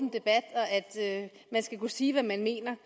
og at man skal kunne sige hvad man mener